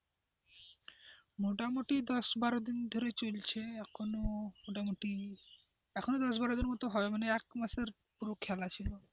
মোটামুটি দশ বারো দিন ধরে চলছে এখন মোটামুটি এখনো দশ বারো দিন মত হবে মানে এক মাসে পুরো খেলা ছিল।